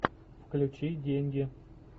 включи деньги